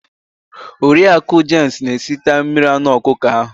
Oriaku james na esita mmiri anụ ọkụkọ ahu